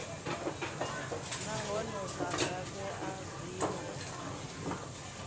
nahone vha nga vhea zwinwe